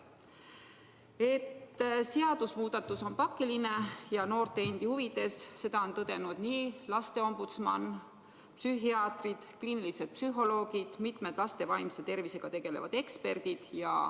Seda, et see seadusmuudatus on pakiline ja vägagi noorte huvides, on tõdenud nii lasteombudsman, psühhiaatrid, kliinilised psühholoogid kui ka mitmed laste vaimse tervisega tegelevad eksperdid.